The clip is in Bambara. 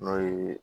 N'o ye